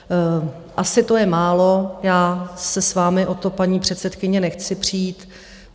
Asi to je málo, já se s vámi o to, paní předsedkyně, nechci přít.